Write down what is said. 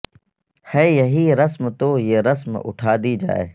ہے یہی رسم تو یہ رسم اٹھا دی جائے